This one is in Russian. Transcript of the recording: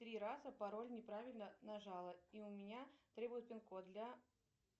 три раза пароль неправильно нажала и у меня требуют пин код для